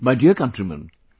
My dear countrymen,